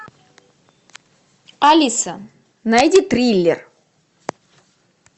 алиса найди триллер